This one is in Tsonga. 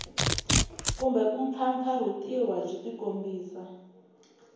kumbe ku mpfampfarhutiwa byi tikombisa